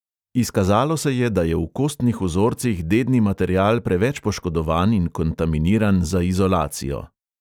Izkazalo se je, da je v kostnih vzorcih dedni material preveč poškodovan in kontaminiran za izolacijo.